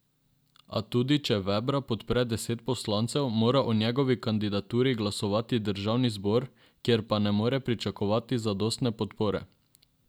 A tudi če Vebra podpre deset poslancev, mora o njegovi kandidaturi glasovati državni zbor, kjer pa ne more pričakovati zadostne podpore.